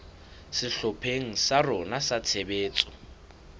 sehlopheng sa rona sa tshebetso